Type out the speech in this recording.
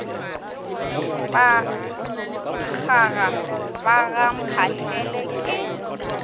bakgaga ba ga mphahlele ke